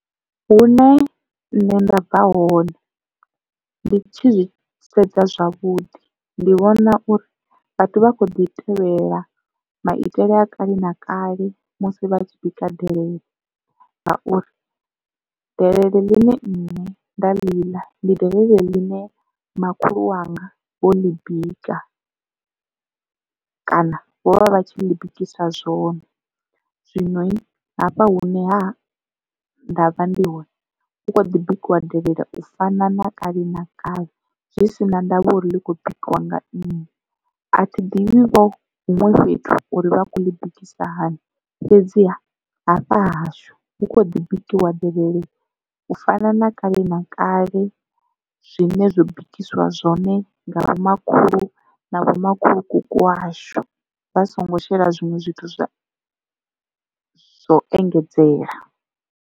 Hune nṋe nda bva hone ndi tshi zwisedza zwavhuḓi ndi vhona uri vhathu vha kho ḓi tevhelela maitele a kale na kale musi vha tshi bika delele ngauri delele ḽine nne nda ḽi ḽa ndi delele ḽine makhulu wanga vho ḽi bika kana vho vha vha tshi ḽi bikisa zwone. Zwino hafha hune ha nda vha ndi hone hu kho ḓi bikiwa delele u fana na kale na kale zwi si na ndavha uri ḽi kho bikiwa nga nnyi. A thi ḓivhi vho huṅwe fhethu uri vha kho ḽi bikisiwa hani fhedziha hafha hahashu hu kho ḓi bikiwa delele u fana na kale na kale zwine zwo bikiswa zwone nga vhomakhulu na vho makhulukuku washu vha songo shela zwinwe zwithu zwa u engedzela.